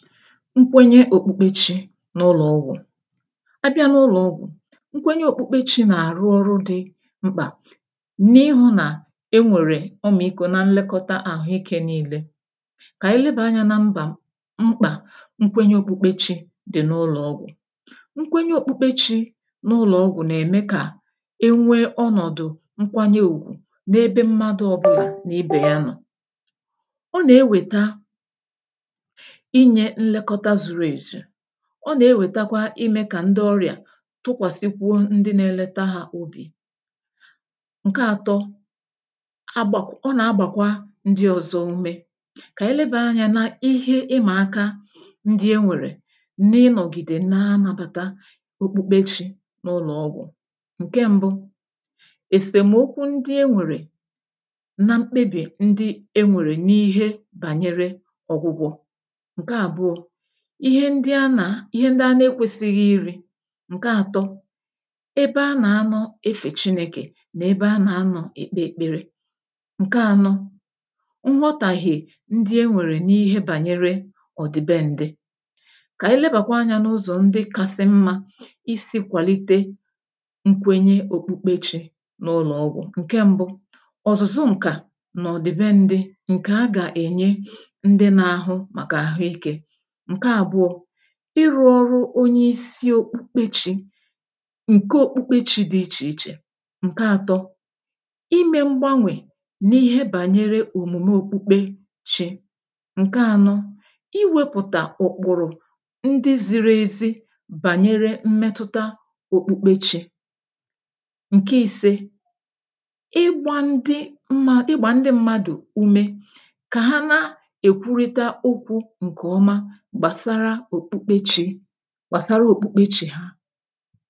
Nkwenye òkpukpechi n’ụlọ̀ ọgwụ̀: A bịa na ụlọ̀ ọgwụ̀ nkwenye òkpukpechi nà-àrụ ọrụ dị mkpà n’ịhụ̇ nà e nwèrè ọmịku̇ na nlekọta àhụike nile. Kà ànyị lebà anyȧ na mbà mkpà nkwenye òkpukpechi dị̀ n’ụlọ̀ ọgwụ̀. Nkwenye òkpukpechi n’ụlọ̀ ọgwụ̀ nà-ème kà enwee ọnọ̀dụ̀ nkwanye ùgwù n’ebe mmadụ̇ ọbụlà n’ibè ya nọ̀. ọ nà-ewèta Inye nlekota zuru ezu, ọ nà-ewètakwa imė kà ndị ọrịà tụkwàsịkwuo ndị na-eleta hȧ obì. Nke ȧtọ, ̇ agbàk ọ nà-agbàkwa ndị ọ̀zọ ume. Kà ànyị lebàa anyȧ na ihe ịmà aka ndị e nwèrè nà ịnọ̀gìdè na anabàta okpukpechi n’ụlọ̀ ọgwụ̀; Nke mbụ, esomokwu ǹdi enwere na mkpebi ǹdi enwere n'ihe banyere ọgwụgwo. Nke àbụọ, ihe ndị a nà ihe ndị a na-ekwesighi iri. Nke àtọ, ebe a nà-anọ efè chinèkè nà ebe a nà-anọ̀ èkpe èkpere. Nke ànọ, nghọtàghe ndị e nwèrè n’ihe bànyere ọ̀ dị be ǹdị. Kà anyị lebàkwa anyȧ n’ụzọ ndị kasị mmȧ isi kwàlite nkwenye òkpukpe chi n’ụlọ̀ ọgwụ̀; Nke mbụ, ọ̀zụ̀zụ ǹkà nà ọ̀dị̀ be ǹdị ǹkè a gà-ènye ndị n’ahụ màkà àhụ ikė. Nke àbụọ, ịrụ̇ ọrụ onye isi okpukpe chi ǹke okpukpe chi dị ichè ichè. Nke atọ, imė mgbanwè n’ihe bànyere òmume okpukpe chi. Nke anọ, iwepụ̀tà ụ̀kpụ̀rụ̀ ndị ziri ezi bànyere mmetụta okpukpe chi. Nke ise, ịgbȧ ndị ṁmȧ ịgbà ndị mmadụ̀ umė kà ha na-èkwurịta okwu ǹkè ọma gbàsara òkpukpechi, gbàsara òkpukpechi ha.